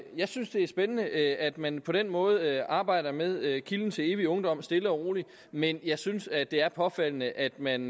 jeg synes det er spændende at man på den måde arbejder med kilden til evig ungdom stille og roligt men jeg synes at det er påfaldende at man